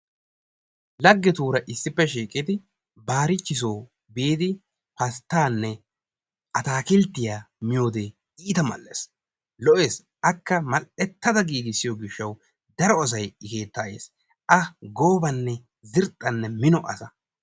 Lagetuura issippe shiiqidi baarichisoo biidi pastaanne ataakkilttiya miyode iita mal'ees, lo'ees akka mal'etada giigissiyo gishawu daro say i keetta yes. akka goobanne xirxxanne mino asa.